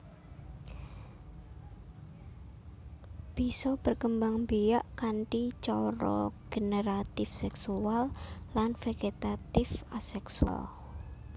Bisa berkembangbiak kanthi cara generatif seksual lan vegetatif aseksual